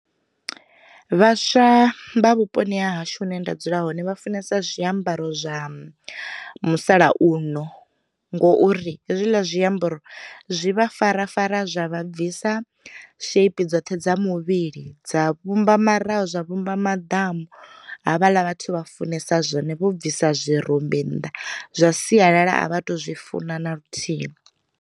Vhaswa vha vhuponi ha hashu hune nda dzula hone vha funesa zwiambaro zwa musalauno, ngo uri hezwiḽa zwi ambaro zwi vha farafara zwa vha bvisa shape dzoṱhe dza muvhili dza vhumba maraho zwa vhumba madamu, havhala vhathu vha funesa zwone vho bvisa zwirumbi nnḓa. Zwa sialala a vha tu zwi funa na luthihi.